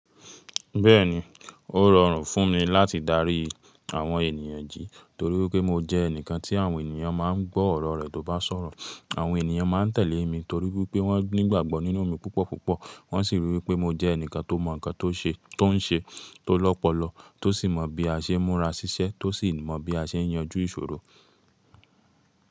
Bẹ́ẹ̀ni, ó rọrùn fún mi láti darí àwọn ènìyàn jí torí wípé mo jẹ́ ẹnìkan tí àwọn ènìyàn máa ń gbọ́ ọ̀rọ̀ rẹ̀ tó bá sọ̀rọ̀. Àwọn ènìyàn máa ń tẹ̀lé mi torí wípé wọ́n ní ìgbàgbọ́ nínú mi púpọ̀ púpọ̀. Wọ́n sì rí i wípé mo jẹ́ ẹnìkan tó mọ nǹkan tó ń ṣe tó lọ́pọ̀lọ̀, tó sì mọ bí a ṣe ń múra ṣíṣẹ́, tó sì mọ bí a ṣe ń yanjú ìṣòro.